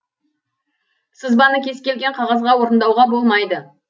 сызбаны кез келген қағазға орындауға болмайды